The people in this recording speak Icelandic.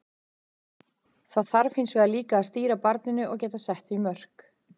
Það þarf hins vegar líka að stýra barninu og geta sett því mörk.